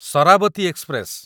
Sharavati express